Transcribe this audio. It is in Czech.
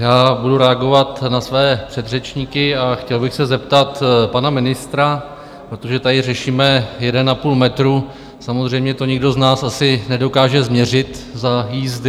Já budu reagovat na své předřečníky a chtěl bych se zeptat pana ministra - protože tady řešíme jeden a půl metru, samozřejmě to nikdo z nás asi nedokáže změřit za jízdy.